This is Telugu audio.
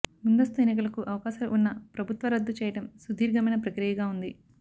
ముందస్తు ఎన్నికలకు అవకాశాలు ఉన్న ప్రభుత్వ రద్దు చేయడం సుదీర్ఘమైన ప్రక్రియగా ఉంది